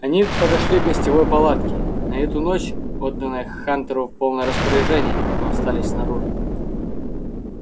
они подошли к гостевой палатке на эту ночь отданной хантеру в полное распоряжение но остались снаружи